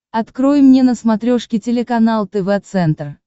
открой мне на смотрешке телеканал тв центр